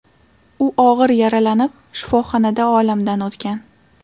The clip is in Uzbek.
U og‘ir yaralanib, shifoxonada olamdan o‘tgan.